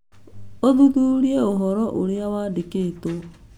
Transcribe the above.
ũthuthurie ũhoro ũrĩa wandĩkĩtwo